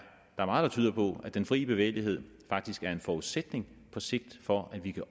der meget der tyder på at den fri bevægelighed faktisk er en forudsætning på sigt for at vi kan